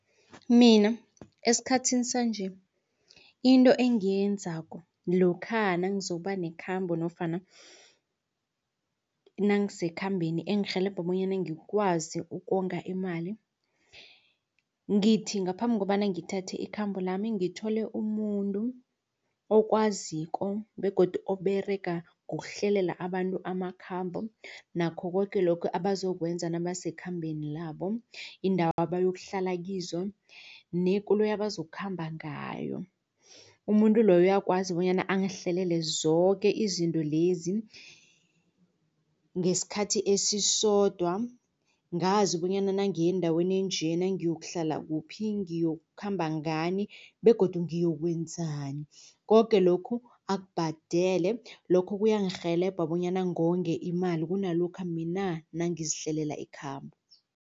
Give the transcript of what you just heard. Mina esikhathini sanje into engiyenzako lokha nangizokuba nekhambo nofana nangisekhambeni engirhelebha bonyana ngikwazi ukonga imali. Ngithi ngaphambi kobana ngithathe ikhambo lami ngithole umuntu okwaziko begodu oberega ngokuhlelela abantu amakhambo nakho koke lokhu abazokwenza nabasekhambeni labo indawo abayokuhlala kizo nekoloyi abazokukhamba ngayo. Umuntu loyo uyakwazi bonyana angihlelele zoke izinto lezi ngesikhathi esisodwa ngazi bonyana nangiya endaweni enje iyokuhlala kuphi ngiyokukhamba ngani begodu ngiyokwenzani koke lokhu akubhadele lokho kuyangirhelebha bonyana ngonge imali kunalokha mina nangizihlelela ikhambo.